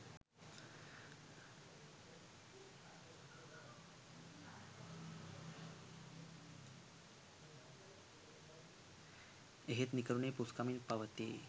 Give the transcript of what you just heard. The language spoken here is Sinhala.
එහෙත් නිකරුණේ පුස්කමින් පවතියි